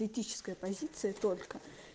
этическая позиция только